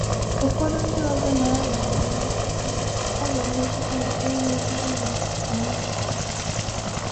“Ụfọdụ ndị ọzọ na-arịa ọrịa mmetụta ọrịa mmetụta nke enweghị uru onwe ha.”